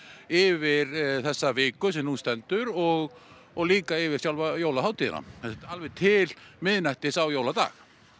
yfir þessa viku sem nú stendur og og líka yfir sjálfa jólahátiðina sem sagt alveg til miðnættis á jóladag